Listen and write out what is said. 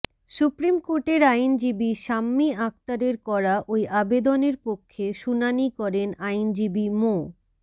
supreme কোর্টের আইনজীবী শাম্মী আক্তারের করা ওই আবেদনের পক্ষে শুনানি করেন আইনজীবী মো